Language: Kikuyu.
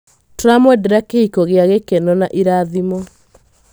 Tũramwendera kĩhiko gĩa gĩkeno na irathimo.